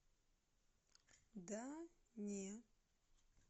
да не